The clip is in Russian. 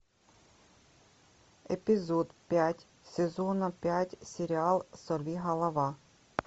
эпизод пять сезона пять сериал сорвиголова